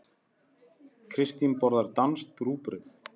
Kristín borðar danskt rúgbrauð.